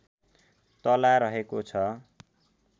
तला रहेको छ